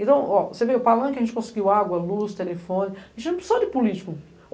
Então o, você vê, o Palanque a gente conseguiu água, luz, telefone, a gente não precisou de político.